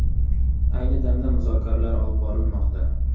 Ayni damda muzokaralar olib borilmoqda.